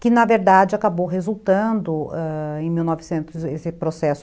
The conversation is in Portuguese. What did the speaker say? Que, na verdade, acabou resultando ãh... em mil novecentos, esse processo